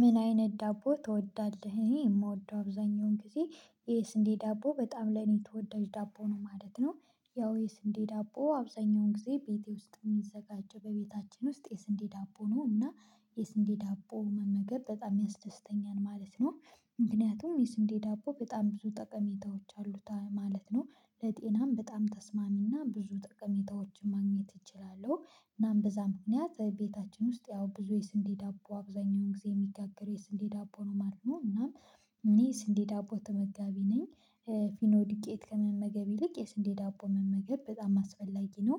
ምን አይነት ዳቦ ትወዳለህ? እኔ የምወደው አብዛኛውን ጊዜ የስንዴ ዳቦ በጣም ለኔ ተወዳጅ ዳቦ ነው ማለት ነው። ያው የስንዴ ዳቦ አብዛኛውን ጊዜ ቤቴ ውስጥ የሚዘጋጀው በቤታችን ውስጥ የስንዴ ዳቦ ነው እና የስንዴ ዳቦ መመገብ በጣም ያስደስተኛል ማለት ነው። ምክንያቱም የስንዴ ዳቦ በጣም ብዙ ጠቀሜታዎች አሉት ማለት ነው። ለጤናም በጣም ተስማሚና ብዙ ጠቀሜታዎችን ማግኘት እችላለሁ እናም በዛ ምክንያት ቤታችን ውስጥ ያው ብዙ የስንዴ ዳቦ አብዛኛውን ጊዜ የሚጋገረው የስንዴ ዳቦ ነው ማለት ነው እና እኔ ስንዴ ዳቦ ተመጋቢ ነኝ። ፊኖ ዱቄት ከመመገብ ይልቅ የስንዴ ዳቦ መመገብ በጣም አስፈላጊ ነው።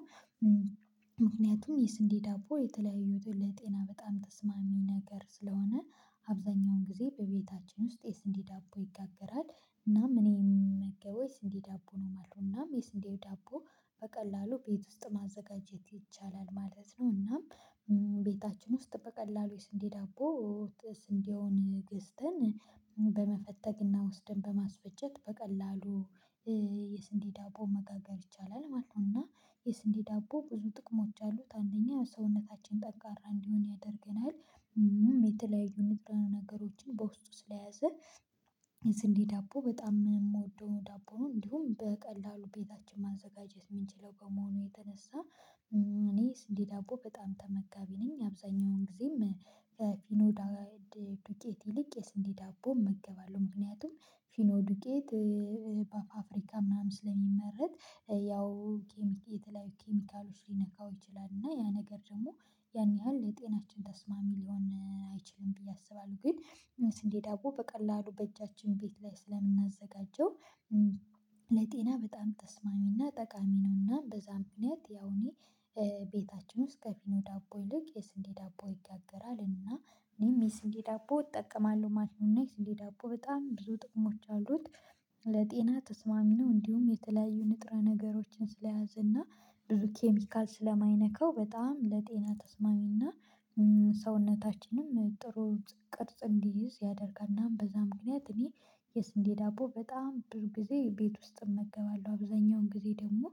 ምክንያቱም የስንዴ ዳቦ የተለያዩትን ለጤና በጣም ተስማሚ ነገር ስለሆነ አብዛኛውን ጊዜ በቤታችን ውስጥ የስንዴ ዳቦ ይጋገራል። እናም እኔም የምመገበው የስንዴ ዳቦ ነው ማለት ነው። እናም የስንዴ ዳቦ በቀላሉ ቤት ውስጥ ማዘጋጀት ይቻላል ማለት ነው። እናም ቤታችን ውስጥ በቀላሉ የስንዴ ዳቦ ስንዴውን ገዝተን በመፈተግና ወስደን በማስፈጨት በቀላሉ የስንዴ መጋገር ይቻላል ማለት ነው። እና የስንዴ ዳቦ ብዙ ጥቅሞች አሉት አንደኛ ሰውነታችን ጠንካራ እንዲሆን ያደርገናል። የተለያዩ ንጥረ ነገሮችን በውስጡ ስለያዘ ስንዴ ዳቦ በጣም የምወደው ዳቦውን እንዲሁም በቀላሉ ቤታችን ማዘጋጀት የምንችለው ከመሆኑ የተነሳ። እኔ ስንዴ ዳቦ በጣም ተመጋቢ ነኝ። አብዛኛውን ጊዜም ከፊኖ ዳ ዱቄት ይልቅ የስንዴ ዳቦ እገባለሁ ምክንያቱም ፊኖ ዱቄት በፍብሪካ ምናምን ስለሚመረት ያው የተለያዩ ኬሚካሎች ሊነካው ይችላል እና ያ ነገር ደግሞ ያን ያህል ለጤናችን ተስማሚ ሊሆን አይችልም። ብዬ አስባለሁ ግን የስንዴ ዳቦ በቀላሉ በእጃችን ቤት ላይ ስለምናዘጋጀው ለጤና በጣም ተስማሚና ጠቃሚ ነውና በዛም ክንያት ያው እኔ ቤታችን ውስጥ ከፊኖ ዳቦ ይልቅ የስንዴ ዳቦ ይጋገራል። እና እኔም የስንዴ ዳቦ እጠቀማለሁ ማሽን እና የስንዴ ዳቦ በጣም ብዙ ጥቅሞች አሉት። ለጤና ተስማሚ ነው እንዲሁም የተለያዩ ንጥረ ነገሮችን ስለያዘና ብዙ ኬሚካል ስለማይነካው በጣም ለጤና ተስማሚና ሰውነታችንም ጥሩ ቅርጽ እንዲይዝ ያደርጋል። እናም በዛ ምክንያት እኔ የስንዴ ዳቦ በጣም ብዙ ጊዜ ቤት ውስጥ እመገባለሁ አብዛኛውን ጊዜ ደግሞ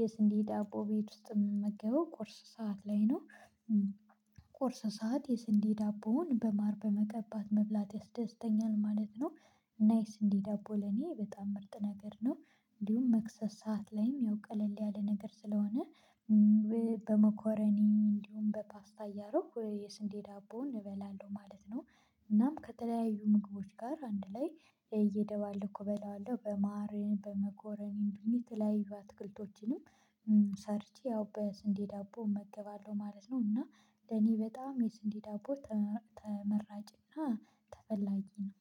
የስንዴ ዳቦ ቤት ውስጥ የምመገበው ቁርስ ሰዓት ላይ ነው። ቁርስ ሰዓት የስንዴ ዳቦውን በማር በመቀባት መብላት ያስደስተኛል ማለት ነው። እና የስንዴ ዳቦ ለኔ በጣም ምርጥ ነገር ነው። እንዲሁም መክሰስ ሰዓት ላይም ያው ቀለል ያለ ነገር ስለሆነ በመኮረኒም እንዲሁም በፓስታ እያደረኩ የስንዴ ዳቦውን እበላለሁ ማለት ነው። እናም ከተለያዩ ምግቦች ጋር አንድ ላይ እየደባለቅሁ እበለዋለሁ በማር በመኮረኒም በተለያዩ አትክልቶችንም ሰርቼ ያው በስንዴ ዳቦ እመገባለሁ ማለት ነው። እና ለኔ በጣም የስንዴ ዳቦ ተመራጭና ተፈላጊ ነው